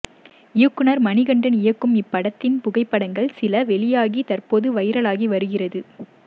இயக்குநர் மணிகண்டன் இயக்கும் இப்படத்தின் புகைப்படங்கள் சில வெளியாகி தற்போது வைரலாகி வருகிறது